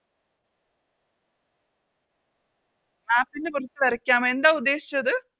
Map ൻറെ പുറത്ത് വരക്കാമോ എന്താ ഉദ്ദേശിച്ചത്